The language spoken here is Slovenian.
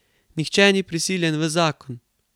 Nihče ni prisiljen v zakon.